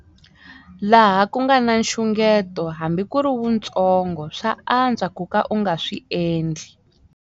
Laha ku nga na nxungeto, hambi ku ri wuntsongo, swa antswa ku ka u nga swi endli.